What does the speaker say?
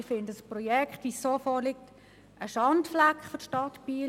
Ich finde, das vorliegende Projekt ist ein Schandfleck für die Stadt Biel.